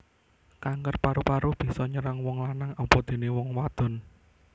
Kanker paru paru bisa nyerang wong lanang apadené wong wadon